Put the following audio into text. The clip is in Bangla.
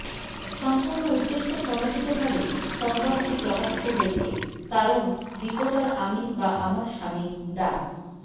সম্পূর্ণ উদ্দেশ্য প্রণোদিতভাবে সংবাদটি প্রকাশিত হয়েছে কারণ রিপোর্টার আমি বা আমার স্বামী ডা